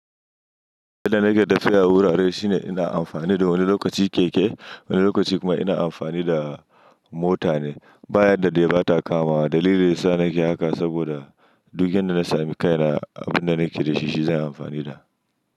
Yadda na ke tafiya wurare shine ina amfani da wani lokaci keke, wani lokaci kuma ina amfani da mota ne. Bayan da dai ba ta kama. Dalilin sa na ke haka saboda duk inda na sami kaina, abin da na ke da shi, shi zan yi amfani da.